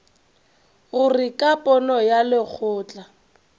gore ka pono ya lekgotla